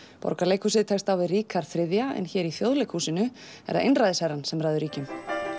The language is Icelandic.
Borgarleikhúsið tekst á við Ríkharð þriðja en hér í Þjóðleikhúsinu er það einræðisherrann sem ræður ríkjum